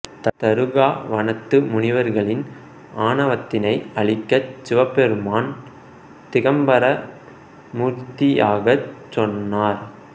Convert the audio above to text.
தருகா வனத்து முனிவர்களின் ஆணவத்தினை அழிக்கச் சிவபெருமான் திகம்பர மூர்த்தியாகச் சென்றார்